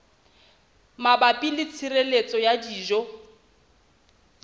mabapi le tshireletso ya dijo